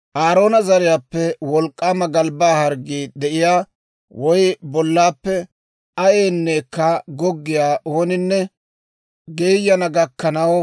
« ‹Aaroona zariyaappe wolk'k'aama galbbaa harggii de'iyaa, woy bollaappe ayayneekka goggiyaa ooninne geeyana gakkanaw,